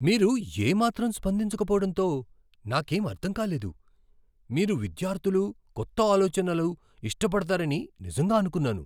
మీరు ఏ మాత్రం స్పందించకపోవటంతో నాకేం అర్ధం కాలేదు, మీరు విద్యార్థులు కొత్త ఆలోచనలు ఇష్టపడతారని నిజంగా అనుకున్నాను.